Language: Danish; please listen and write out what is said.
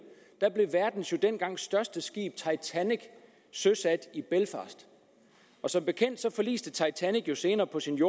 blev verdens jo dengang største skib titanic søsat i belfast som bekendt forliste titanic jo senere på sin